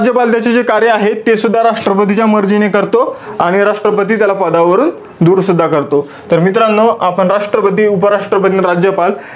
राज्यपाल त्याचे जे कार्य आहे, तेसुद्धा राष्ट्रपतीच्या मर्जीने करतो. आणि राष्ट्रपती त्याला पदावरून दूर सुद्धा करतो. तर मित्रांनो, आपण राष्ट्रपती, उपराष्ट्रपती, आणि राज्यपाल,